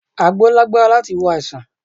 Àgbo lágbára láti wo àìsàn